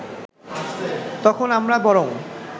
তখন আমরা বরং